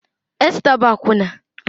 Esta bụ akwụna